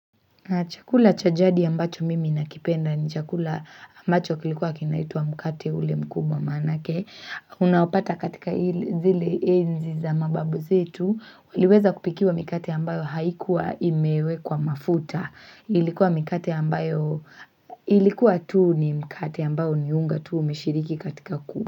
Na chakula cha jadi ambacho mimi nakipenda ni chakula ambacho kilikuwa kinaitwa mkate ule mkubwa maanake Unaopata katika zile enzi za mababu zetu waliweza kupikiwa mikate ambayo haikuwa imewekwa mafuta Ilikuwa mikate ambayo ilikuwa tu ni mkate ambao ni unga tu umeshiriki katika ku.